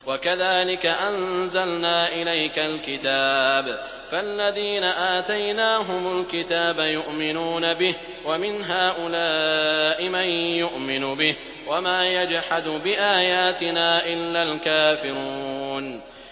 وَكَذَٰلِكَ أَنزَلْنَا إِلَيْكَ الْكِتَابَ ۚ فَالَّذِينَ آتَيْنَاهُمُ الْكِتَابَ يُؤْمِنُونَ بِهِ ۖ وَمِنْ هَٰؤُلَاءِ مَن يُؤْمِنُ بِهِ ۚ وَمَا يَجْحَدُ بِآيَاتِنَا إِلَّا الْكَافِرُونَ